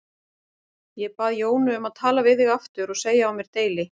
Ég bað Jónu um að tala við þig aftur og segja á mér deili.